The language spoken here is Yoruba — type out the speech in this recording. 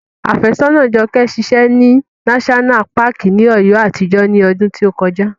Afésọ́nàa Jọkẹ́ ṣiṣẹ́ ní náṣọ́nà paàkì ti Ọ̀yọ́ àtijọ́ ní ọdún tí ó kọjá